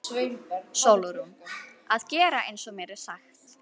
SÓLRÚN: Að gera eins og mér er sagt.